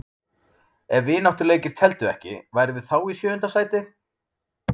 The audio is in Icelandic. Ef vináttuleikir teldu ekki, værum við þá í sjöunda sæti?